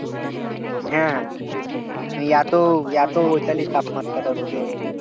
হ্যাঁ এত এত ওইখানে তাপমাত্রাটা রোদের